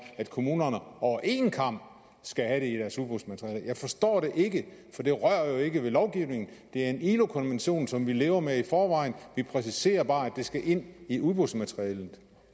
at kommunerne over en kam skal have i deres udbudsmateriale jeg forstår det ikke for det rører jo ikke ved lovgivningen det er en ilo konvention som vi lever med i forvejen vi præciserer bare at det skal ind i udbudsmaterialet